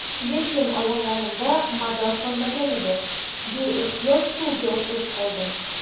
Lekin oyoqlarimda mador qolmagan edi, beixtiyor stulga o‘tirib qoldim.